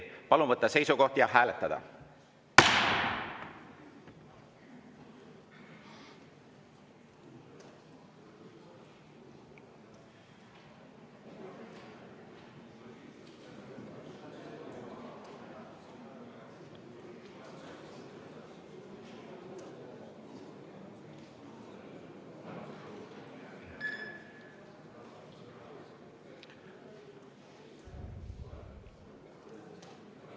Palun võtta seisukoht ja hääletada!